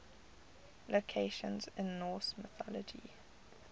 locations in norse mythology